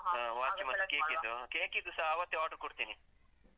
ಆ, watch ಉ ಮತ್ತು cake ಇದ್ದು. cake ಇದ್ದೂಸ ಅವತ್ತೇ order ಉ ಕೊಡ್ತೀನಿ.